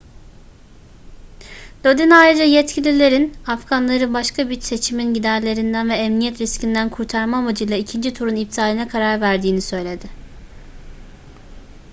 lodin ayrıca yetkililerin afganları başka bir seçimin giderlerinden ve emniyet riskinden kurtarma amacıyla ikinci turun iptaline karar verdiğini söyledi